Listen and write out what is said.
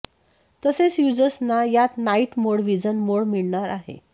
तसेच युजर्सना यात नाइट मोड व्हिजन मोड मिळणार आहे